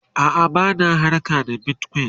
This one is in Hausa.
a'a bana harka da bitcoin